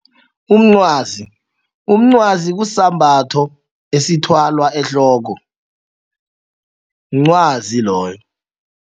Umncwazi, umncwazi kusisambatho esithwalwa ehloko mncwazi loyo.